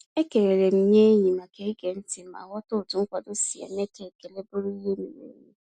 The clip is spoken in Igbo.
Ekelele m nye enyi maka ige ntị ma ghọta otu nkwado si eme ka ekele bụrụ ihe miri emi.